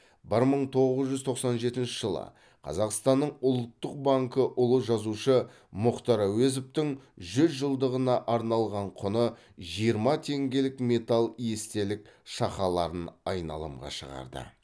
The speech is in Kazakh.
бір мың тоғыз жүз тоқсан жетінші жылы қазақстанның ұлттық банкі ұлы жазушы мұхтар әуезовтің жүз жылдығына арналған құны жиырма теңгелік металл естелік шақаларын айналымға шығарды